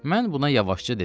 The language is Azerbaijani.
Mən buna yavaşca dedim.